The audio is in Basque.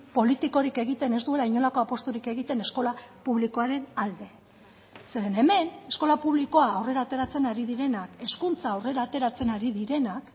politikorik egiten ez duela inolako apusturik egiten eskola publikoaren alde zeren hemen eskola publikoa aurrera ateratzen ari direnak hezkuntza aurrera ateratzen ari direnak